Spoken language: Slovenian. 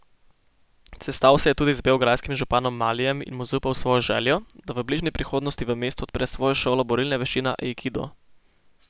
Sestal se je tudi z beograjskim županom Malijem in mu zaupal svojo željo, da v bližnji prihodnosti v mestu odpre svojo šolo borilne veščine aikido.